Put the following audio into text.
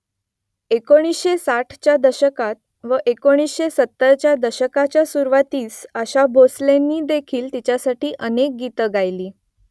एकोणीसशे साठच्या दशकात व एकोणीसशे सत्तरच्या दशकाच्या सुरुवातीस आशा भोसलेंनीदेखील तिच्यासाठी अनेक गीतं गायली